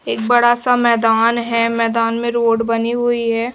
एक बड़ा सा मैदान है मैदान में रोड बनी हुई है।